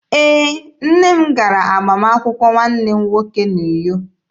Ee, nne m gara agbamakwụkwọ nwanne m nwoke n'Uyo.